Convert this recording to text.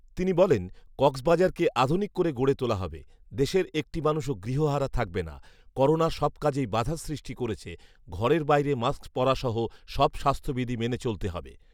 তিনি বলেন, কক্সবাজারকে আধুনিক করে গড়ে তোলা হবে৷ দেশের একটি মানুষও গৃহহারা থাকবে না৷ করোনা সব কাজেই বাধার সৃষ্টি করেছে৷ঘরের বাইরে মাস্ক পরাসহ সব স্বাস্থ্যবিধি মেনে চলতে হবে